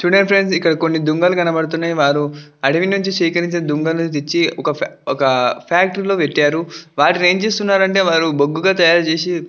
చుడండి ఫ్రెండ్స్ దుంగలు కనబడుతున్నాయి వారు అడివి నుంచి సేకరించిన దుంగలు తెచ్చి ఒక ఫ్యాక్టరీ లో పెట్టారు వాటిని ఏంచేస్తున్నానంటే వారు బొగ్గు తాయారు చేసి --